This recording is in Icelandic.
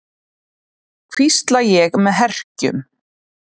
hvísla ég með herkjum.